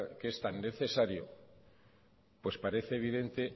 que es tan necesario pues parece evidente